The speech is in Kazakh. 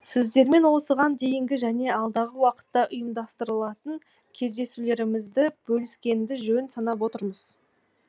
сіздермен осыған дейінгі және алдағы уақытта ұйымдастырылатын кездесулерімізді бөліскенді жөн санап отырмыз